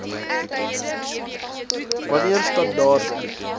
wan neer standaarde